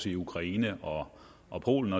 i ukraine og og polen